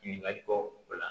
Ɲininkali kɔ la